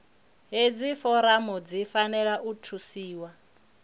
hedzi foramu dzi fanela u thusiwa